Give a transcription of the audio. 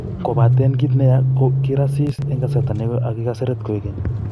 Kopaten kit ne ya ko kirasis en kasarta negoi ago kiraseret koigeny.